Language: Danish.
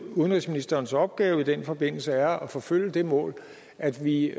udenrigsministerens opgave i den forbindelse er at forfølge det mål at vi